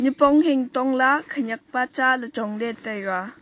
nipong hing tong la khenek pa cha chong le taiga.